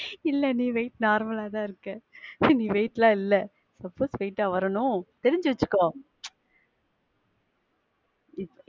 இல்ல நீ weight normal ஆ தான் இருக்க. நீ weight ஆ இல்ல. தொப்ப straight ஆ வரணும். தெரிஞ்சி வச்சிக்கோ. .